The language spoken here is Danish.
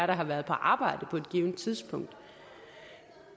der har været på arbejde på et givent tidspunkt